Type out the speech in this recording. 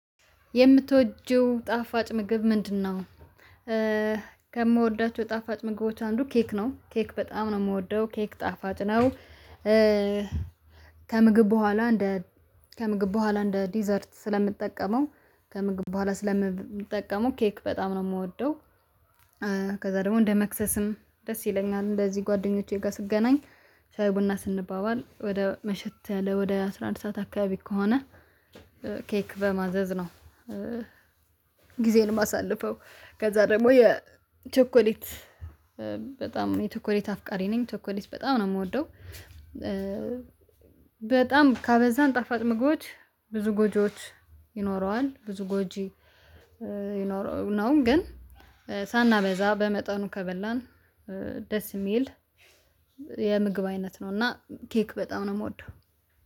የምትወጂው ጣፋጭ ምግብ ምንድነው? ከምወዳቸው ጣፋጭ ምግቦች አንዱ ኬክ ነው ኬክ በጣም ነው የምወደው ኬክ ጣፋጭ ነው። ከምግብ በኋላ እንደ ከምግብ በኋላ እንደ ዲዘርት ስለምጠቀመው ከምግብ በኋላ ስለምብምጠቀመው ኬክ በጣም ነው የምወደው። ከዛ ደግሞ እንደ መክሰስም ደስ ይለኛል እንደዚህ ጓደኞቼ ጋር ስገናኝ ሻይ ቡና ስንባባል ወደ መሸት ያለ ወደ አስራ አንድ ሰዓት አካባቢ ከሆነ ኬክ በማዘዝ ነው። ጊዜዬን ማሳልፈው ከዛ ደግሞ የቸኮሌት በጣም የቸኮሌት አፍቃሪ ነኝ ቸኮሌት በጣም ነው የምወደው። በጣም ካበዛን ጣፋጭ ምግቦች ብዙ ጎጂዎች ይኖረዋል ብዙ ጎጂ ይኖረው ነው። ግን ሳናበዛ በመጠኑ ከበላን ደስ የሚል የምግብ አይነት ነው። እና ኬክ በጣም ነው የምወደው